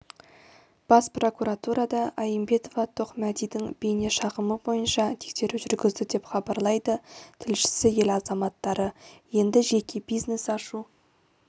бас прокуратурада аимбетова тоқмәдидің бейнешағымы бойынша тексеру жүргізді деп хабарлайды тілшісі ел азаматтары енді жеке бизнес ашу